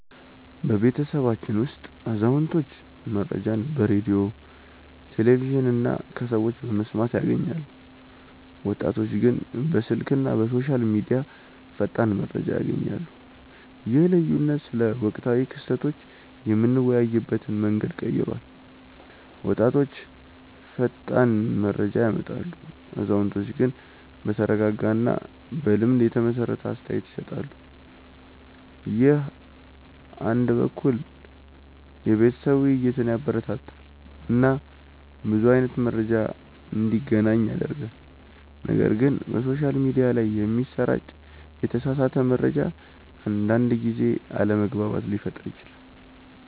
በቤተሰባችን ውስጥ አዛውንቶች መረጃን በሬዲዮ፣ ቴሌቪዥን እና ከሰዎች በመስማት ያገኛሉ፣ ወጣቶች ግን በስልክ እና በሶሻል ሚዲያ ፈጣን መረጃ ያገኛሉ። ይህ ልዩነት ስለ ወቅታዊ ክስተቶች የምንወያይበትን መንገድ ቀይሯል፤ ወጣቶች ፈጣን መረጃ ያመጣሉ፣ አዛውንቶች ግን በተረጋጋ እና በልምድ የተመሰረተ አስተያየት ይሰጣሉ። ይህ አንድ በኩል የቤተሰብ ውይይትን ያበረታታል እና ብዙ አይነት መረጃ እንዲገናኝ ያደርጋል፣ ነገር ግን በሶሻል ሚዲያ ላይ የሚሰራጭ የተሳሳተ መረጃ አንዳንድ ጊዜ አለመግባባት ሊፈጥር ይችላል